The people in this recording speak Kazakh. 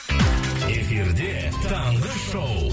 эфирде таңғы шоу